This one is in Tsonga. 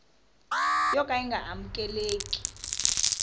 yo ka yi nga amukeleki